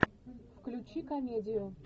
включи комедию